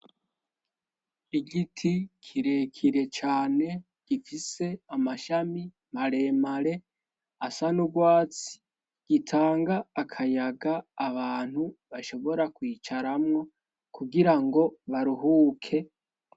Igiti kirekire cane gifise amashami maremare asa niurwatsi gitanga akayaga abantu bashobora kwicaramwo kugira ngo baruhuke.